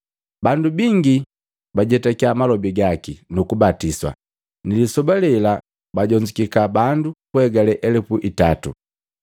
Bandu bingi bajetaki malobi gaki, nukubatiswa. Ni lisoba lelela bajonzukika bandu kuhegale elupu itato.